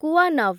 କୁୱାନଭ୍